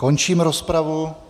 Končím rozpravu.